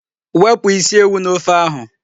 Wepụ isi ewu n'ofe ahụ.